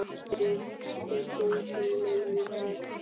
Ég gæti tungu minnar í dag.